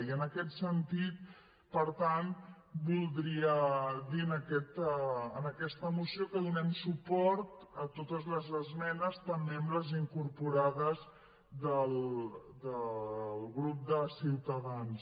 i en aquest sentit per tant voldria dir en aquesta moció que donem suport a totes les esmenes també a les incorporades del grup de ciutadans